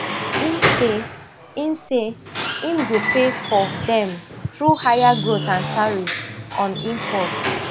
im say im say im go pay for dem through higher growth and tariffs on imports